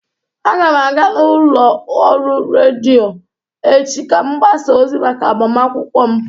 Aga m aga n'ụlọ ọrụ redio echi ka m gbasa ozi maka agbamakwụkwọ m